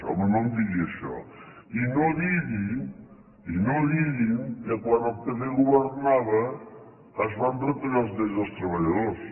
home no em digui això i no digui i no ho diguin que quan el pp governava es van retallar els drets dels treballadors